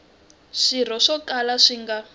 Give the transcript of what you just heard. swirho swo kala swi nga